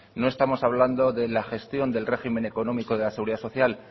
no estamos hablando de la gestión del régimen económico de la seguridad social